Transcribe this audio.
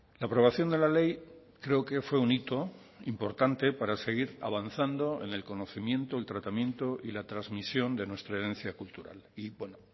la aprobación de la ley creo que fue un hito importante para seguir avanzando en el conocimiento el tratamiento y la transmisión de nuestra herencia cultural y bueno